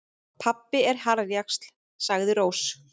Pabbi er harðjaxl, sagði Rós.